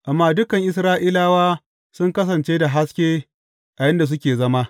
Amma dukan Isra’ilawa sun kasance da haske a inda suke zama.